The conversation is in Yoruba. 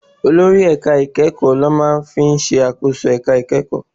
Olórí ẹ̀ka ìkẹ́kọ̀ọ́ ló máa ń ṣàkóso ẹ̀ka ìkẹ́kọ̀ọ́.